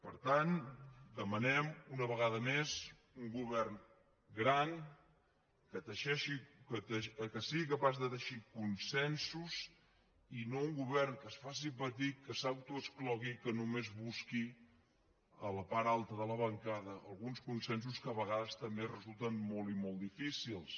per tant demanem una vegada més un govern gran que teixeixi que sigui capaç de teixir consensos i no un govern que es faci petit que s’autoexclogui que només busqui a la part alta de la bancada alguns consensos que a vegades també resulten molt i molt difícils